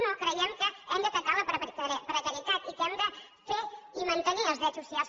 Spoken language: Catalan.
no creiem que hem d’atacar la precarietat i que hem de fer i mantenir els drets socials